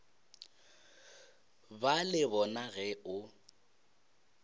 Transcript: ba le bona ge o